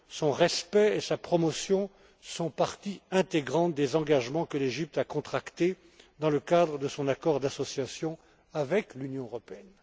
Son respect et sa promotion sont parties intégrantes des engagements que l'Égypte a contractés dans le cadre de son accord d'association avec l'Union européenne.